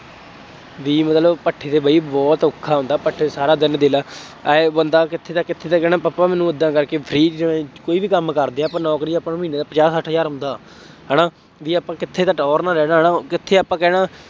ਬਈ ਮਤਲਬ ਭੱਠੇ ਤੇ ਬਈ ਬਹੁਤ ਔਖਾ ਹੁੰਦਾ, ਭੱਠੇ ਤੇ ਸਾਰਾ ਦਿਨ ਦੇਖ ਲਾ, ਆਂਏਂ ਬੰਦਾ ਕਿੱਥੇ ਦਾ ਕਿੱਥੇ ਕਹਿਣਾ ਪਾਪਾ ਮੈਨੂੰ ਉਦਾਂ ਕਰਕੇ free ਚ ਕੋਈ ਵੀ ਕੰਮ ਕਰਦੇ ਆ, ਆਪਾਂ ਨੌਕਰੀ ਆਪਾਂ ਨੂੰ ਮਹੀਨੇ ਦਾ ਪੰਜਾਬ ਸੱਠ ਹਜ਼ਾਰ ਆਉਂਦਾ, ਹੈ ਨਾ, ਬਈ ਆਪਾਂ ਕਿੱਥੇ ਤਾਂ ਟੌਹਰ ਨਾਲ ਰਹਿਣਾ ਹੈ ਨਾ, ਕਿੱਥੇ ਆਪਾਂ ਕਹਿਣਾ